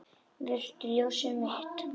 Viltu það ljósið mitt?